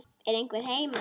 Er einhver heima?